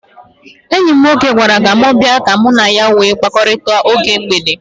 Enyi m nwoke gwara m ka m bia ka mụ na ya nwee mkparịkọtaụka oge mgbede.